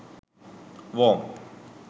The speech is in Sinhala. worm